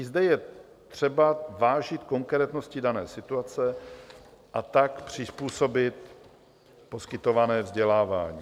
I zde je třeba vážit konkrétnosti dané situace a tak přizpůsobit poskytované vzdělávání.